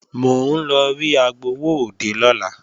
Mò ń lọ rí agbowóòde lọ́la